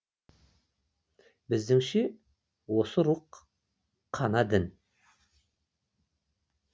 біздіңше осы рух қана дін